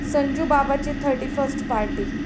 संजूबाबाची thirty first party...